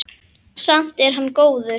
Samt er hann góður.